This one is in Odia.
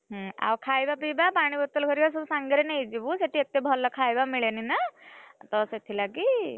ହୁଁ ଆଉ ଖାଇବା ପିଇବା ପାଣି ବୋତଲ ଭରିକ ସାଙ୍ଗରେନେଇଯିବୁ ସେଠି ଏତେ ଭଲ ଖାଇବା ମିଳେନି ନାଁ ତ ସେଥି ଲାଗି।